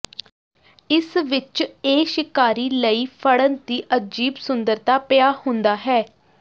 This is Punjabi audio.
ਇਸ ਵਿਚ ਇਹ ਸ਼ਿਕਾਰੀ ਲਈ ਫੜਨ ਦੀ ਅਜੀਬ ਸੁੰਦਰਤਾ ਪਿਆ ਹੁੰਦਾ ਹੈ